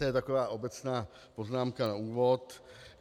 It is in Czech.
To je taková obecná poznámka na úvod.